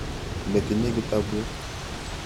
Ne tinye kitaput.